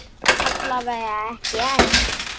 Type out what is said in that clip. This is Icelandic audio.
Alla vega ekki enn.